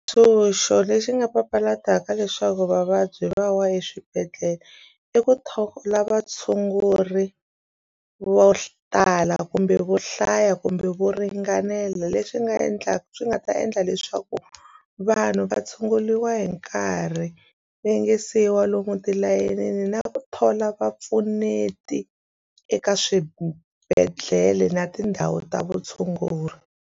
lexi nga papalataka leswaku vavabyi va wa eswibedhlele i ku thola vatshunguri vo tala kumbe vo hlaya kumbe vo ringanela lexi nga endlaka swi nga ta endla leswaku vanhu va tshunguriwa hi nkarhi va yinge siyiwa lomu tilayinini na ku thola vapfuneti eka swibedhlele na tindhawu ta vutshunguri.